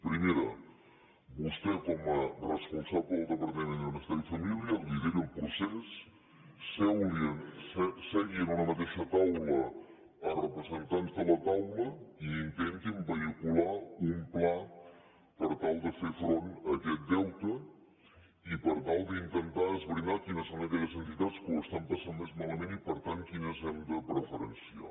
primera vostè com a responsable del departament de benestar i família lideri el procés segui en una mateixa taula representants de la taula i intentin vehicular un pla per tal de fer front a aquest deute i per tal d’intentar esbrinar quines són aquelles entitats que ho estan passant més malament i per tant quines hem de preferenciar